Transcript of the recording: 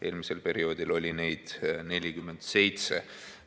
Eelmisel perioodil oli neid 47.